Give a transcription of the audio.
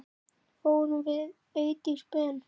Fórum við Eydís Ben.